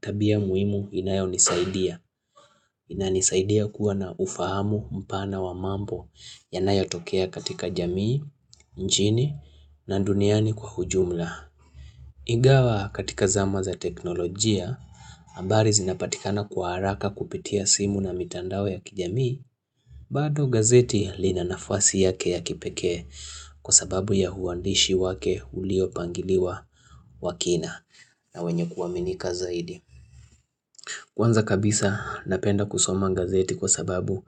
tabia muhimu inayo nisaidia. Inanisaidia kuwa na ufahamu mpana wa mambo yanayatokea katika jamii, nchini, na duniani kwa ujumla. Ingawa katika zama za teknolojia, habari zinapatikana kwa haraka kupitia simu na mitandao ya kijamii. Bado gazeti lina nafasi yake ya kipekee kwa sababu ya uandishi wake uliopangiliwa wa kina na wenye kuaminika zaidi. Kwanza kabisa napenda kusoma gazeti kwa sababu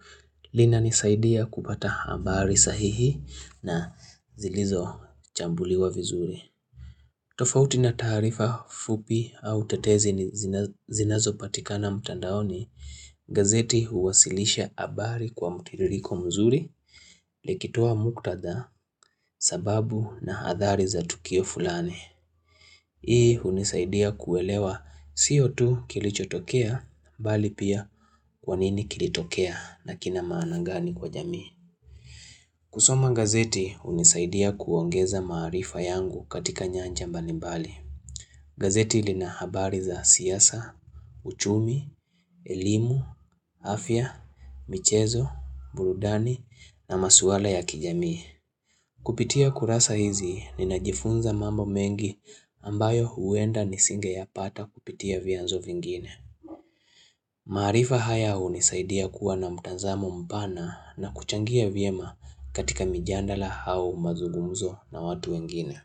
lina nisaidia kupata habari sahihi na zilizo chambuliwa vizuri. Tofauti na taarifa fupi au tetezi zinazo patikana mtandaoni, gazeti huwasilisha habari kwa mtiririko mzuri likitoa muktadha sababu na hadhari za tukio fulani. Hii hunisaidia kuelewa sio tu kilichotokea, bali pia kwa nini kilitokea na kina maana gani kwa jamii. Kusoma gazeti hunisaidia kuongeza maarifa yangu katika nyanja mbali mbali. Gazeti lina habari za siasa, uchumi, elimu, afya, michezo, burudani na masuala ya kijamii. Kupitia kurasa hizi ninajifunza mambo mengi ambayo huenda nisinge yapata kupitia vyanzo vingine. Maarifa haya hunisaidia kuwa na mtazamo mpana na kuchangia vyema katika mijadala au mazugumzo na watu wengine.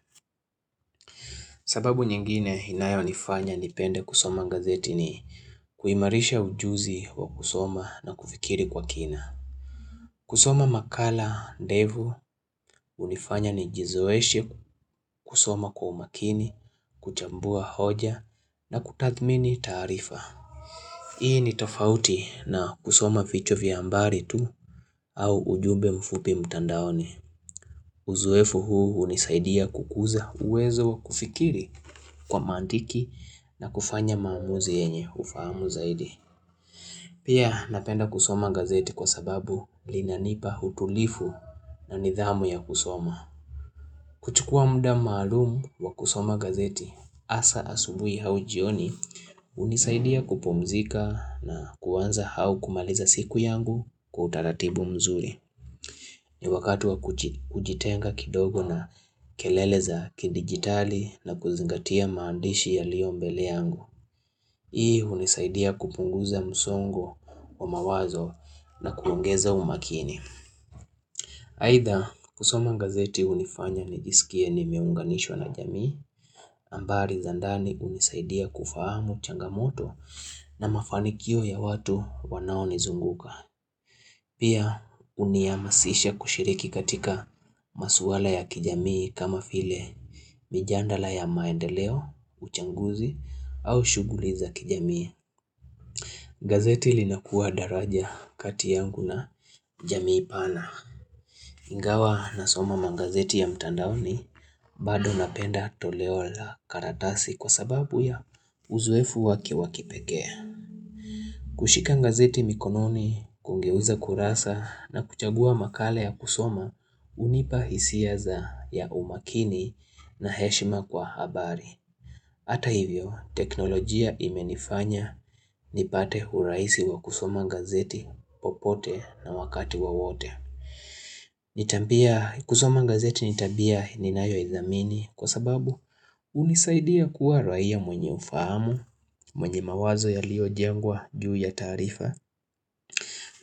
Sababu nyingine inayonifanya nipende kusoma gazeti ni kuimarisha ujuzi wa kusoma na kufikiri kwa kina. Kusoma makala, ndefu, hunifanya nijizoeshe kusoma kwa umakini, kuchambua hoja na kutathmini taarifa. Hii ni tofauti na kusoma vichwa vya habari tu au ujumbe mfupi mtandaoni. Uzoefu huu hunisaidia kukuza uwezo wa kufikiri kwa mantiki na kufanya maamuzi yenye ufahamu zaidi. Pia napenda kusoma gazeti kwa sababu linanipa utulivu na nidhamu ya kusoma. Chukua muda malumu wa kusoma gazeti, hasa asubuhi au jioni hunisaidia kupumzika na kuanza au kumaliza siku yangu kwa utaratibu mzuri. Ni wakati wa kujitenga kidogo na kelele za kidigitali na kuzingatia maandishi yaliyo mbele yangu. Hii hunisaidia kupunguza msongo wa mawazo na kuongeza umakini. Aidha kusoma gazeti hunifanya nijisikie nimeunganishwa na jamii habari za ndani hunisaidia kufahamu changamoto na mafanikio ya watu wanao nizunguka. Pia hunihamasisha kushiriki katika maswala ya kijamii kama vile mijadala ya maendeleo, uchaguzi au shughuli za kijamii. Gazeti linakuwa daraja kati yangu na jamii pana. Ingawa nasoma magazeti ya mtandaoni, bado napenda toleo la karatasi kwa sababu ya uzoefu wake wa kipekee. Kushika gazeti mikononi, kugeuza kurasa na kuchagua makala ya kusoma hunipa hisia za ya umakini na heshima kwa habari. Hata hivyo, teknolojia imenifanya nipate urahisi wa kusoma gazeti popote na wakati wa wowote. Kusoma gazeti ni tabia ninayoithamini kwa sababu hunisaidia kuwa raia mwenye ufahamu, mwenye mawazo yaliojengwa juu ya tarifa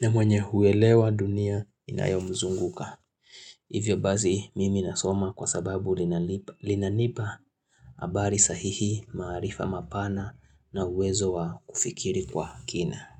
na mwenye huelewa dunia inayomzunguka Hivyo basi, mimi nasoma kwa sababu linanipa habari sahihi, maarifa mapana na uwezo wa kufikiri kwa kina.